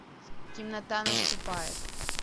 темнота наступает